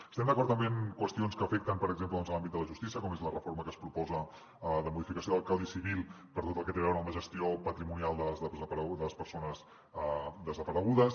estem d’acord també en qüestions que afecten per exemple l’àmbit de la justícia com és la reforma que es proposa de modificació del codi civil per tot el que té a veure amb la gestió patrimonial de les persones desaparegudes